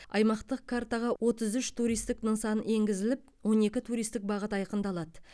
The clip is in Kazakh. аймақтық картаға отыз үш туристік нысан енгізіліп он екі туристік бағыт айқындалады